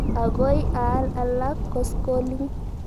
Akoi aal alak koskoling'.